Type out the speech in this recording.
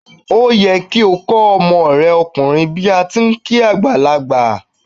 Ó yẹ kí o kó ọmọ re okùnrin bíí ati n kí àgbàlagbà